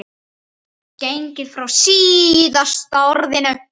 gengið frá SÍÐASTA ORÐINU.